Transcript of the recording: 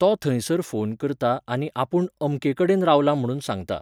तो थंयसर फोन करता आनी आपूण अमके कडेन रावला म्हणून सांगता.